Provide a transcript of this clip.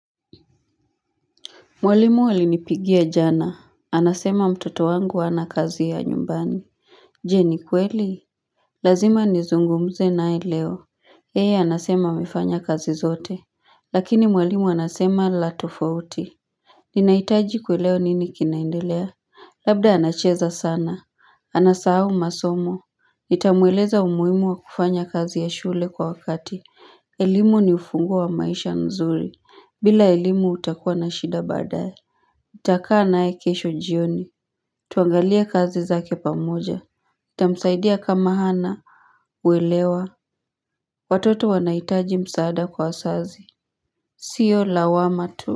Mwalimu alinipigia jana. Anasema mtoto wangu hana kazi ya nyumbani. Je ni kweli? Lazima nizungumze nae leo. Yeye anasema amefanya kazi zote. Lakini mwalimu anasema la tofauti. Ninaitaji kuelewa nini kinaendelea. Labda anacheza sana. Anasahau masomo. Nitamueleza umuhimu wa kufanya kazi ya shule kwa wakati. Elimu ni ufunguo wa maisha nzuri. Bila elimu utakuwa na shida baadaye. Nitakaa naye kesho jioni Tuangalie kazi zake pamoja Itamsaidia kama hana uelewa Watoto wanahitaji msaada kwa wasazi Sio lawama tu.